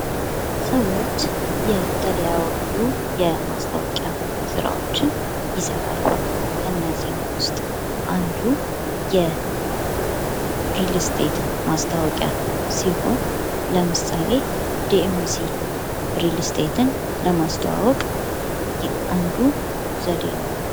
ሰዎች የተለያዩ የማስታወቂያ ስራዎችን ይሰራሉ ከነዚህም ውስጥ አንዱ የሪል ስቴት ማስታወቂያ ሲሆን ለምሳሌ ዲኤምሲ ሪልስቴትን ለማስተዋወቅ አንዱ ዘዴ ነው።